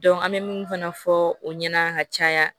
an bɛ mun fana fɔ o ɲɛna ka caya